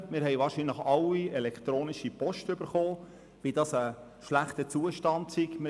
Wir haben wohl alle elektronische Post erhalten, der zu entnehmen war, wie schlecht der Zustand sei.